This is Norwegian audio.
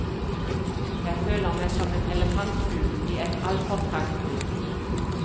Jeg føler meg som en elefantfugl i et altfor trangt bur.